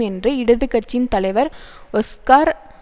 என்று இடது கட்சியின் தலைவர் ஒஸ்கார்